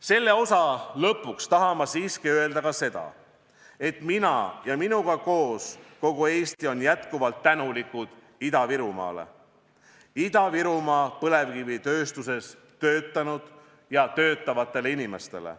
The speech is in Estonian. Selle osa lõpuks tahan ma siiski öelda ka seda, et mina ja minuga koos kogu Eesti on jätkuvalt tänulikud Ida-Virumaale ning Ida-Virumaa põlevkivitööstuses töötanud ja töötavatele inimestele.